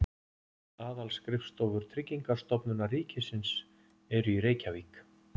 Aðalskrifstofur Tryggingastofnunar ríkisins eru í Reykjavík.